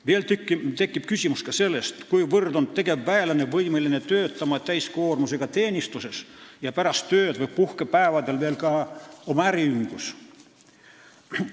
Veel tekib küsimus, kuivõrd on tegevväelane võimeline töötama täiskoormusega teenistuses ja pärast tööd või puhkepäevadel ka oma äriühingus.